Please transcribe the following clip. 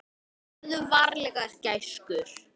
Farðu varlega gæskur.